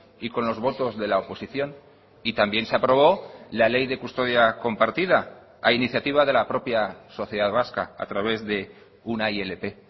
y con los votos de la oposición y también se aprobó la ley de custodia compartida a iniciativa de la propia sociedad vasca a través de una ilp